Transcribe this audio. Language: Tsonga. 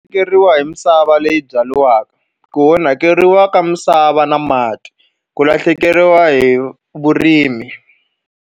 Hi misava leyi byariwaka, ku onhakeriwa ka misava na mati, ku lahlekeriwa hi vurimi.